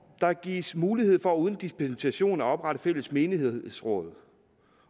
der gives mulighed for uden dispensation at oprette fælles menighedsråd